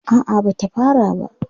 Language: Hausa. A'a ba ta fara ba.